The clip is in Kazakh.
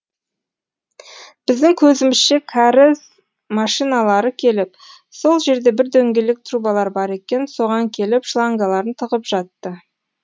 біздің көзімізше кәріз машиналары келіп сол жерде бір дөңгелек трубалар бар екен соған келіп шлангаларын тығып жатты